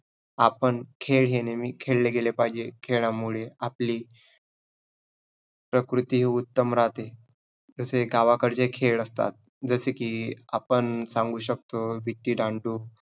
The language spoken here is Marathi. आपण खेळ हे नेहमी खेळले गेले पाहिजे. खेळामुळे आपली प्रकृती उत्तम राहते, तसे गावाकडचे खेळ असतात, जसे की आपण सांगू शकतो विट्टी दांडू.